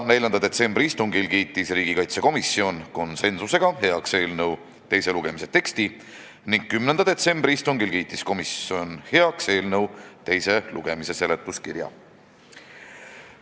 4. detsembri istungil kiitis komisjon konsensusega heaks eelnõu teise lugemise teksti, 10. detsembri istungil aga eelnõu teise lugemise seletuskirja.